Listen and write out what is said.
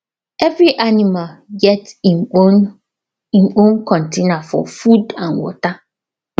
every animal get im own im own container for food and water